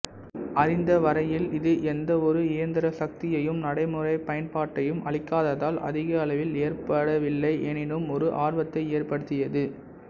அறிந்தவரையில் இது எந்தவொரு இயந்திரசக்தியையும் நடைமுறைப் பயன்பாட்டையும் அளிக்காததால் அதிக அளவில் ஏற்கப்படவில்லை எனினும் ஒரு ஆர்வத்தை ஏற்படுத்தியது